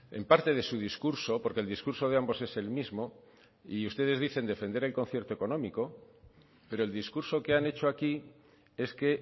en parte de su discurso porque el discurso de ambos es el mismo y ustedes dicen defender el concierto económico pero el discurso que han hecho aquí es que